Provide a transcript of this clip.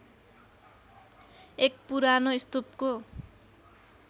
एक पुरानो स्तूपको